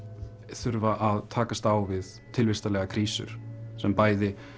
þurfa að takast á við krísur sem bæði